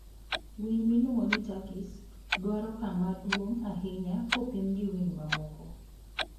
Winy miluongo ni turkeys dwaro kama duong' ahinya kopim gi winy mamoko.